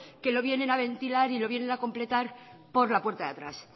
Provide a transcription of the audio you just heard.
que lo vienen a ventilar y lo vienen a completar por la puerta de atrás